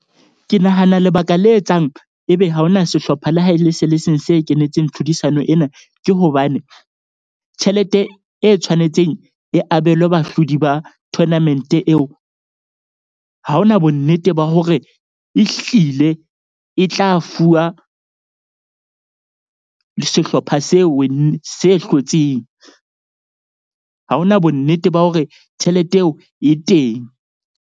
Ke nahana lebaka le etsang ebe ha hona sehlopha la ha e le se le seng se kenetseng tlhodisano ena, ke hobane tjhelete e tshwanetseng e abelwe bahlodi ba tournament-e eo. Ha ho na bonnete ba hore e hlile e tla fuwa sehlopha se se hlotseng. Ha hona bonnete ba hore tjhelete eo e teng.